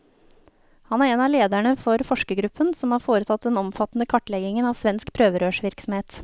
Han er en av lederne for forskergruppen som har foretatt den omfattende kartleggingen av svensk prøverørsvirksomhet.